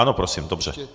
Ano prosím, dobře.